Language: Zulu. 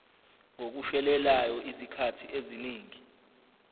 ngokushelelayo izikhathi eziningi